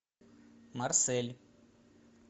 марсель